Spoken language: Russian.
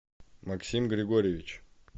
максим григорьевич